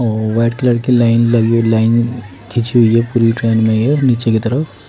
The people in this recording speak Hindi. और वाइट कलर की लाइन लगी लाइन खींची हुई है पूरी ट्रेन में ये नीचे की तरफ--